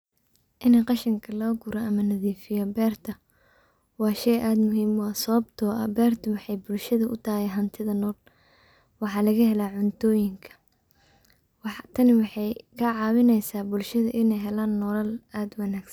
In qashinka lagaguro ama la nadiifiyo beerta waa shay aad muhiim u ah sawabto ah beerta waxay bulshada u tahay hantida nool waxaa lagahela cuntoyinka tani waxay kacawinaysa bulshada inay helan nolal aad u wanagsan.